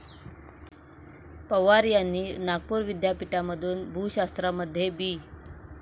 पवार यांनी नागपूर विद्यापीठामधून भूशास्त्रामध्ये बी.